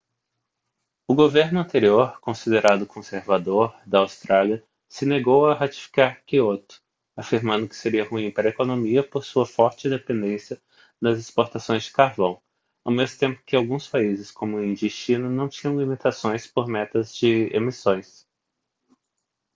o governo anterior considerado conservador da austrália se negou a ratificar kyoto afirmando que seria ruim para a economia por sua forte dependência das exportações de carvão ao mesmo tempo que alguns países como índia e china não tinham limitações por metas de emissões